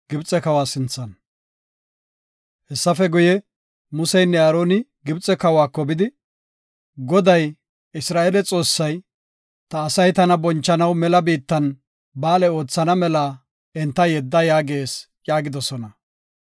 Hessafe guye, Museynne Aaroni Gibxe kawako bidi, “Goday, Isra7eele Xoossay, ‘Ta asay tana bonchanaw mela biittan, ba7aale oothana mela enta yedda’ yaagees” yaagidosona.